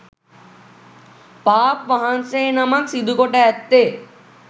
පාප් වහන්සේ නමක් සිදුකොට ඇත්තේ